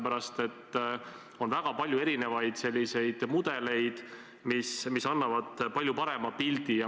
On ju väga palju erinevaid mudeleid, mis annavad olukorrast palju parema pildi.